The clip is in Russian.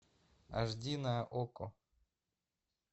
аш ди на окко